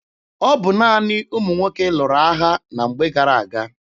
Ọ bụ naanị ụmụ nwoke lụrụ agha na mgbe gara aga.